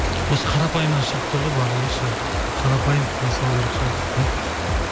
осы қарапайымнан шығып тұр ғой барлығы ше қарапайым киіне салу керек шығар дейді де